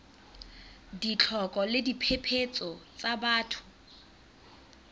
ditlhoko le diphephetso tsa batho